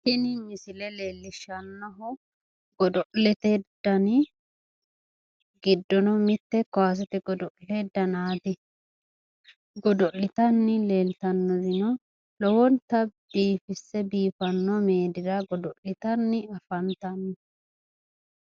Tini misile leellishshannohu godo'lete dani giddo mitte kaasete godo'le danaati godo'litanni leeltannorino lowonta biifisse biifanno meedira godo'litanni afantanno.